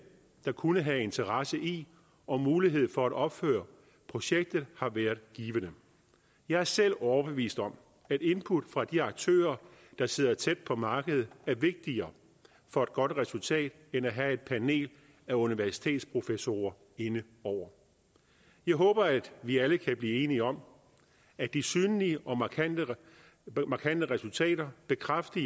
der kunne have interesse i og mulighed for at opføre projektet har været givende jeg er selv overbevist om at input fra de aktører der sidder tæt på markedet er vigtigere for et godt resultat end at have et panel af universitetsprofessorer inde over jeg håber at vi alle kan blive enige om at de synlige og markante resultater bekræfter